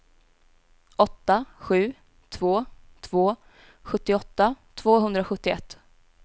åtta sju två två sjuttioåtta tvåhundrasjuttioett